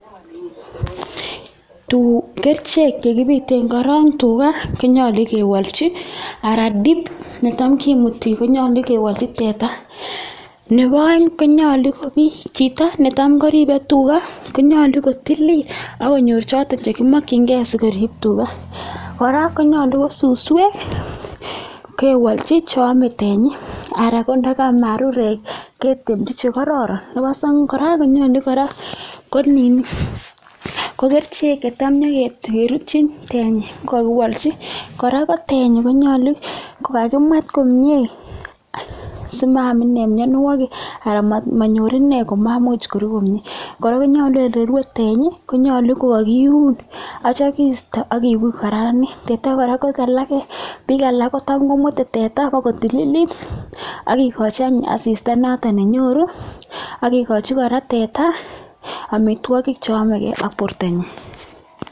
Kerichek che kibiten korong tuga, konyolu kewolchi anan dip netam kimuti konyolu kewolchi teta nebo oeng konyolu ko chito netam koribe teta konyolu kotilil ak konyor choto chekimokinge asikorib tuga. Kora konyolu ko suswek kewolchhi che ame tenyi anan ndo ko marurek ketemchi che kororon. Nebo somok kora konyolu kora ko kerichek che tam konyokerutyin tenyi kogakiwolchi. Kora ko tenyi konyolu kagokimwet komye simaam inee mianwogik anan monyor inee komamuch koruu komye. Kora konyolu ole rwe tenyi kogakiun ak kityo kisto ak kibuch kokararanit ak kora bik alak kotam komwete teta bokotililit ak kegochi any asista noton nenyoru ak kigochi kora teta amitwogik che yomege ak bortanyin.